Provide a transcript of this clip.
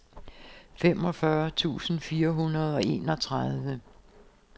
femogfyrre tusind fire hundrede og enogtredive